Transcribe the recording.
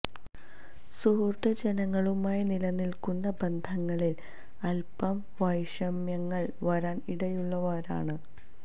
സുഹൃത്ത് ജനങ്ങളുമായി നിലനില്ക്കുന്ന ബന്ധങ്ങളില് അല്പം വൈഷമ്യങ്ങള് വരാന് ഇടയുള്ള വാരമാണ്